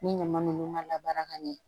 Ni ɲama ninnu ka la baara ka ɲɛ